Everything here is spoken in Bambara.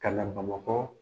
Kana Bamakɔ